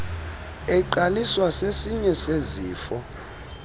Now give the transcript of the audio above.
eqaliswa sesinye sezifo